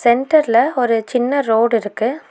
சென்டர்ல ஒரு சின்ன ரோடு இருக்கு.